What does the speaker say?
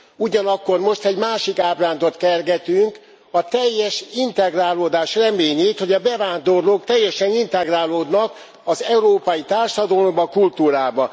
Ugyanakkor most egy másik ábrándot kergetünk, a teljes integrálódás reményét, hogy a bevándorlók teljesen integrálódnak az európai társadalomba, kultúrába.